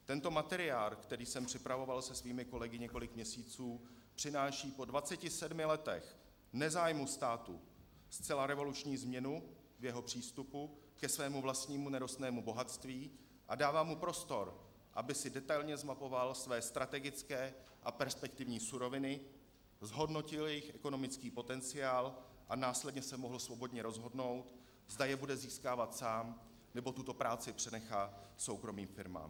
Tento materiál, který jsem připravoval se svými kolegy několik měsíců, přináší po 27 letech nezájmu státu zcela revoluční změnu jeho přístupu ke svému vlastnímu nerostnému bohatství a dává mu prostor, aby si detailně zmapoval své strategické a perspektivní suroviny, zhodnotil jejich ekonomický potenciál a následně se mohl svobodně rozhodnout, zda je bude získávat sám, nebo tuto práci přenechá soukromým firmám.